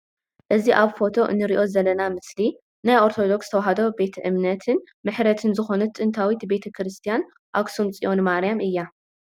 ኣዚ ኣብ ፎቶ እንሪኦ ዘለና ምስሊ ናይ ኦርቶዶክስ ተዋህዶ ቤት እምነትን ምሕረትን ዝኮነት ጥንታዊት ቤተ ክርስትያን ኣክሱም ፅዮን ማርያም እያ ።